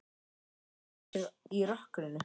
Hún reynir að átta sig í rökkrinu.